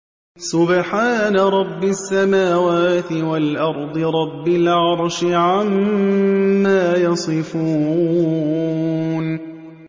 سُبْحَانَ رَبِّ السَّمَاوَاتِ وَالْأَرْضِ رَبِّ الْعَرْشِ عَمَّا يَصِفُونَ